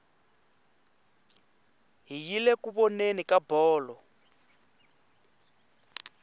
hi yile ku voneni ka bolo